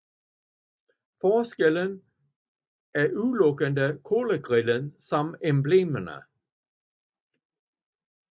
Forskellen er udelukkende kølergrillen samt emblemerne